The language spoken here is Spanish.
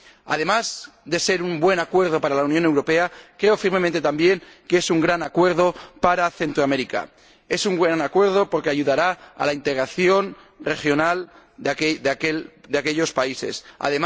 Además de ser un buen acuerdo para la Unión Europea, creo firmemente, también, que es un gran acuerdo para Centroamérica. Es un buen acuerdo porque ayudará a la integración regional de los países que comprende.